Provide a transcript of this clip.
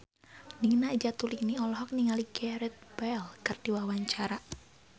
Nina Zatulini olohok ningali Gareth Bale keur diwawancara